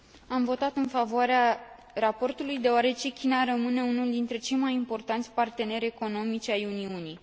Am votat în favoarea raportului, deoarece China rămâne unul dintre cei mai importanți parteneri economici ai Uniunii.